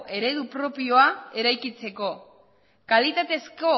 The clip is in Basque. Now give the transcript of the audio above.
eredu propioa eraikitzeko kalitatezko